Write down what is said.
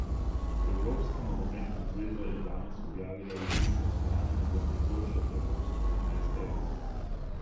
Evropska nogometna zveza je danes objavila izid glasovanja za najboljšo evropsko enajsterico.